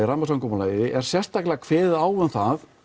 rammasamkomulagi er sérstaklega kveðið á um það